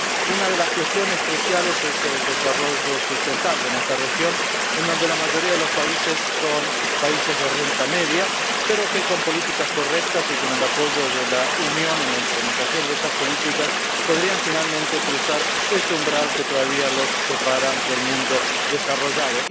Una de las cuestiones cruciales es el desarrollo sostenible en esta región, en donde la mayoría de los países son países de renta media, pero que con políticas correctas y con el apoyo de la Unión en la implementación de esas políticas, podrían finalmente cruzar ese umbral que todavía los separa del mundo desarrollado.